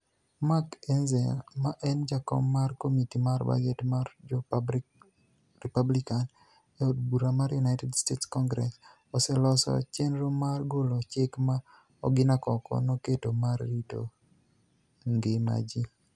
Mark Enizel, ma eni jakom mar komiti mar budget mar jo Republicani e od bura mar Uniited States Conigress, oseloso cheniro mar golo chik ma Oginia koko noketo mar rito nigima ji.